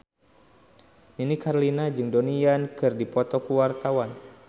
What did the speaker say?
Nini Carlina jeung Donnie Yan keur dipoto ku wartawan